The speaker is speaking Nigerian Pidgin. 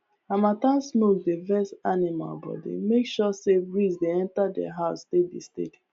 harmattan smoke dey vex animal body make sure say breeze dey enter their house steady steady